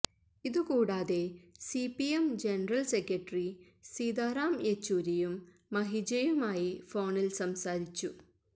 ഇതു കൂടാതെ CPM general secretary Sitaram യെച്ചൂരിയും മഹിജയുമായി ഫോണില് സംസാരിച്ചു